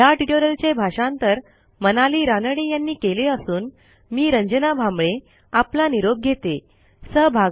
ह्या ट्युटोरियलचे भाषांतर मनाली रानडे यांनी केले असून मी रंजना भांबळे आपला निरोप घेते160